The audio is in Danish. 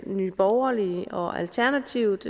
nye borgerlige og alternativet